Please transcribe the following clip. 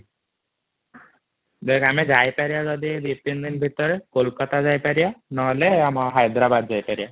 ଦେଖ ଆମେ ଯାଇପାରିବ ଯଦି ୨,୩ ଦିନ ଭିତରେ କୋଲକାତା ଯାଇପାରିବ ନହେଲେ ଆମେ ହାୟଦରାବାଦ ଯାଇପାରିବ